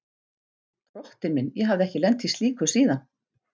Drottinn minn, ég hafði ekki lent í slíku síðan.